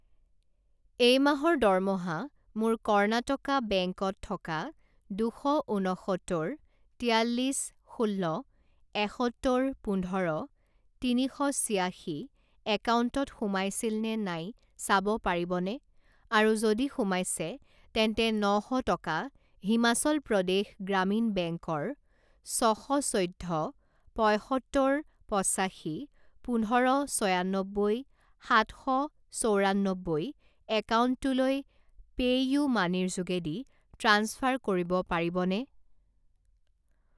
এই মাহৰ দৰমহা মোৰ কৰ্ণাটকা বেংক ত থকা দুশ ঊনসত্তৰ তিয়াল্লিছ ষোল্ল এসত্তৰ পোন্ধৰ তিনি শ ছিয়াশী একাউণ্টত সোমাইছিল নে নাই চাব পাৰিবনে, আৰু যদি সোমাইছে তেন্তে ন শ টকা হিমাচল প্ৰদেশ গ্ৰামীণ বেংকৰ ছ শ চৈধ্য পঁইসত্তৰ পঁচাশী পোন্ধৰ ছয়ান্নব্বৈ সাত শ চৌৰান্নব্বৈ একাউণ্টটোলৈ পেইউমানিৰ যোগেদি ট্ৰাঞ্চফাৰ কৰিব পাৰিবনে?